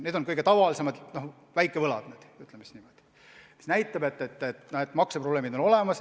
Need on kõige tavalisemad väikevõlad, mis näitavad, et makseprobleemid on olemas.